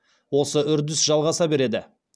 осы үрдіс жалғаса береді